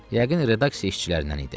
Yəqin redaksiya işçilərindən idi.